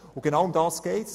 Und genau darum geht es: